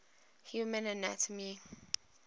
human anatomy